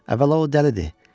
Əvvəla o dəlidir.